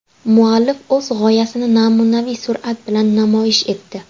Muallif o‘z g‘oyasini namunaviy surat bilan namoyish etdi.